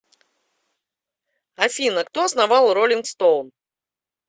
афина кто основал ролинг стоун